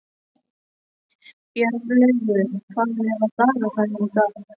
Bjarnlaugur, hvað er á dagatalinu í dag?